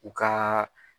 U ka